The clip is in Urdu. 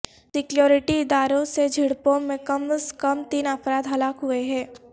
سکیورٹی اداروں سے جھڑپوں میں کم از کم تین افراد ہلاک ہوئے ہیں